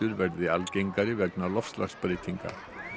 verði algengari vegna loftslagsbreytinga